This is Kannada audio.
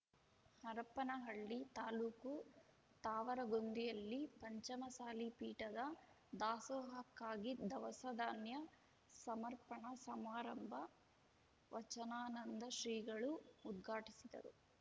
ಹರಪನಹಳ್ಳಿ ತಾಲ್ಲುಕು ತಾವರಗೊಂದಿಯಲ್ಲಿ ಪಂಚಮಸಾಲಿ ಪೀಠದ ದಾಸೋಹಕ್ಕಾಗಿ ದವಸ ಧಾನ್ಯ ಸಮರ್ಪಣಾ ಸಮಾರಂಭ ವಚನಾನಂದ ಶ್ರೀಗಳು ಉದ್ಘಾಟಿಸಿದರು